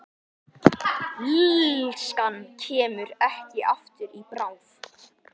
Illskan kemur ekki aftur í bráð.